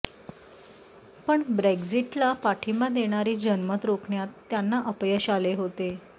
पण ब्रेक्झिटला पाठिंबा देणारे जनमत रोखण्यात त्यांना अपयश आले होते